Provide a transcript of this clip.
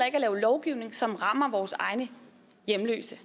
ikke at lave lovgivning som rammer vores egne hjemløse